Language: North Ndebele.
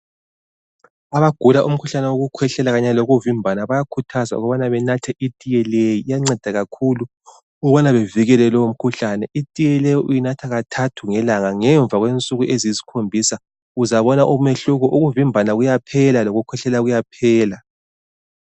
Abagula umkhuhlane wokukhwehlela kanye lokuvimbana bayakhuthazwa ukubana benathe itiye leyi iyanceda kakhulu ukubana bevikele lowu mkhuhlane, itiye le uyinatha kathathu ngelanga ngemva kwensuku eziyisikhombisa uzabona umehluko ukuvimbana kuyaphela loku khwehlela kuyaphela.